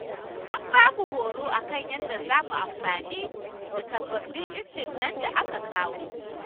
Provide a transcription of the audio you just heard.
An ba mu horo a kan yadda za mu amfani da sababbin injinan da aka kawo.